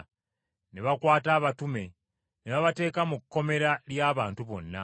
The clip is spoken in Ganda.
Ne bakwata abatume ne babateeka mu kkomera ly’abantu bonna.